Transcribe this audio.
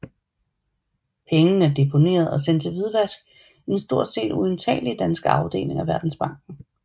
Pengene er deponeret og sendt til hvidvask i den stort set uindtagelige danske afdeling af Verdensbanken